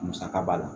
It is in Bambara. Musaka b'a la